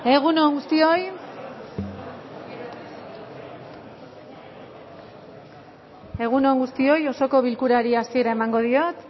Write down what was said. egun on guztioi osoko bilkurari hasiera emango diot